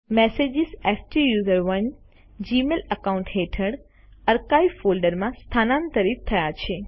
message સ્ટુસરોને Gmail account હેઠળ archives ફોલ્ડરમાં સ્થાનાંતરિત થયા છે